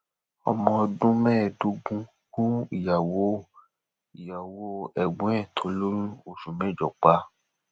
ọmọ ọdún mẹẹẹdógún gun ìyàwó ìyàwó ẹgbọn ẹ tó lóyún oṣù mẹjọ pa